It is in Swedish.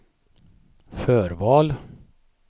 förval